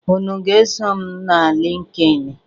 Unu aga-eso m na LịnkedỊnị?